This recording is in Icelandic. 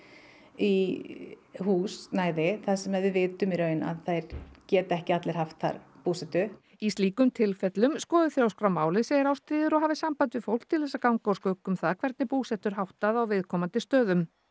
í húsnæði þar sem að við vitum að í raun að þeir geti ekki allir haft þar búsetu í slíkum tilfellum skoði Þjóðskrá málið segir Ástríður og hafi samband við fólk til þess að ganga úr skugga um það hvernig búsetu er háttað á viðkomandi stöðum